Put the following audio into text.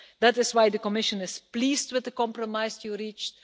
That is why the Commission is pleased with the compromise you reached.